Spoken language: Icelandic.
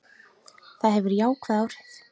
Það hefur jákvæð áhrif.